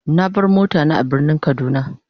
Na bar mota na a birnin kaduna.